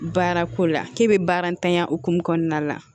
Baara ko la k'e bɛ baara ntanya hokumu kɔnɔna la